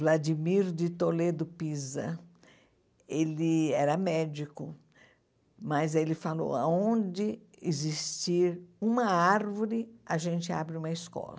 Vladimir de Toledo Pisa, ele era médico, mas ele falou, aonde existir uma árvore, a gente abre uma escola.